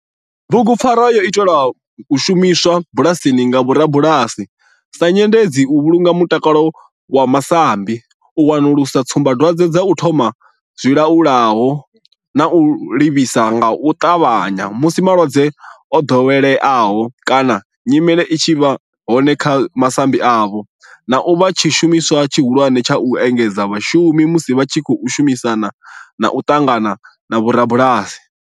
Bugupfarwa yo itelwa u shumiswa bulasini nga vhorabulasi sa nyendedzi u vhulunga mutakalo wa masambi, u wanulusa tsumbadwadzwe dza u thoma kha zwilwalaho na u livhisa nga u tavhanya musi malwadze o dovheleaho kana nyimele i tshi vha hone kha masambi avho, na u vha tshishumiswa tshihulwane tsha u engedzedza vhashumi musi vha tshi khou shumisana na u ṱangana na vhorabulasi.